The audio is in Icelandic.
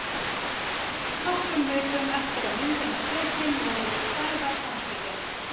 Nokkrum vikum eftir að myndin var tekin vorum við Sævar handtekin.